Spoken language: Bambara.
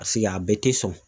Paseke a bɛɛ te sɔn.